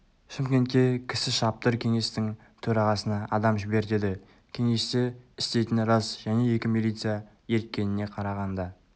шымкентке кісі шаптыр кеңестің төрағасына адам жібер деді кеңесте істейтіні рас және екі милиция ерткеніне қарағанда